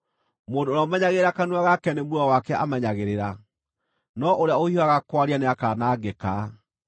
Mũndũ ũrĩa ũmenyagĩrĩra kanua gake nĩ muoyo wake amenyagĩrĩra, no ũrĩa ũhiũhaga kwaria nĩakanangĩka.